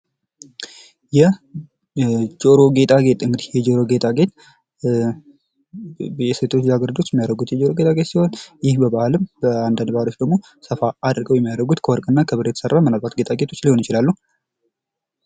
የጆሮ ጌጣጌጥ እንግዲህ የጆሮ ጌጣጌጥ ሴቶች ልጃ ገረዶች የሚያደርጉት በአንዳንድ ባህልም ሰፋ ያለ የጆሮ ጌጣጌጥ ሊያደርጉ ይችላሉ።